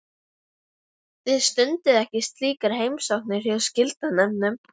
Þið stundið ekki slíkar heimsóknir hjá skilanefndunum?